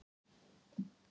Ég spurði einskis.